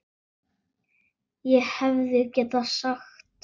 ÉG HEFÐI GETAÐ SAGT